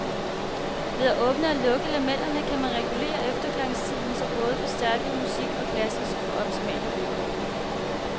Ved at åbne og lukke lamellerne, kan man regulere efterklangstiden, så både forstærket musik og klassisk kan få optimale vilkår.